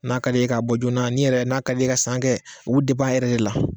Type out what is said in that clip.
N'a ka di ye ka bɔ joona ni yɛrɛ n'a ka di ye ka san kɛ, u bi i yɛrɛ de la